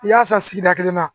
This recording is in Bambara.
I y'a san sigida kelen na